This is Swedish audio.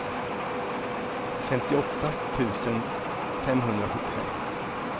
femtioåtta tusen femhundrasjuttiofem